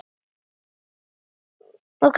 Og hvert er svarið?